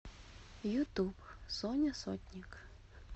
ютуб соня сотник